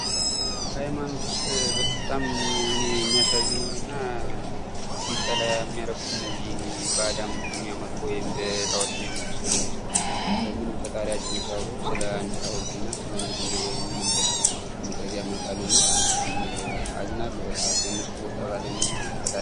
ከሃይማኖት ውስጥ በጣም እኔ የሚያሳዝኑኝ እና እንድጠላ የሚያደርጉ እነዚህ በአድ አምልኮ የሚያመልኩ ወይም በጣኦት የሚያመልኩ ሰዎች ናቸው ። ምንም ፈጣሪያቸውን ሳያውቁ ስለአንድ ሀውልት እና ስለአንድ ድንጋይ ወይም እንጨት በመቅረፅ ያመልካሉና አዝናለሁ በቃ በነሱ ቦታ ባለመሆን ፈጣሪን